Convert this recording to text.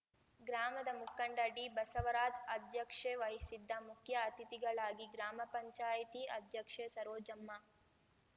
ಗ್ರಾಮದ ಮುಖಂಡ ಡಿಬಸವರಾಜ್‌ ಅಧ್ಯಕ್ಷೇ ವಹಿಸಿದ್ದ ಮುಖ್ಯ ಅತಿಥಿಗಳಾಗಿ ಗ್ರಾಮ ಪಂಚಾಯ್ತಿ ಅಧ್ಯಕ್ಷೆ ಸರೋಜಮ್ಮ